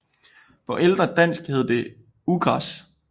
På ældre dansk hed det ugræs